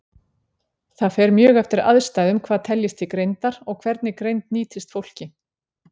Það fer mjög eftir aðstæðum hvað teljist til greindar, og hvernig greind nýtist fólki.